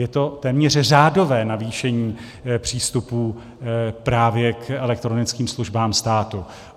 Je to téměř řádové navýšení přístupů právě k elektronickým službám státu.